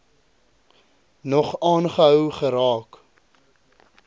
nog aangehou geraak